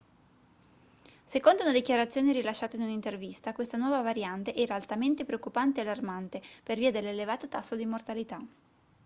secondo una dichiarazione rilasciata in un'intervista questa nuova variante era altamente preoccupante e allarmante per via dell'elevato tasso di mortalità